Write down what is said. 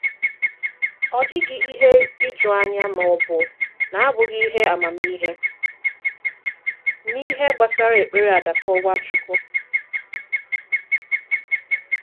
Ọ dịghị ihe iju anya ma ọ bụ na-abụghị ihe amamihe n’ihe gbasara èkpere àdàkọ̀ Nwachukwu.